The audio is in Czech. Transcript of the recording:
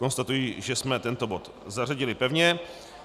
Konstatuji, že jsme tento bod zařadili pevně.